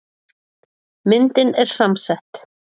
Myndin er samsett.